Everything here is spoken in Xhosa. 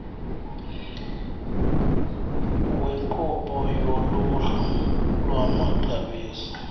wenkqubo yoluhlu lwamaxabiso